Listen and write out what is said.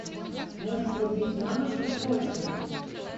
можешь врубить мамочки срочно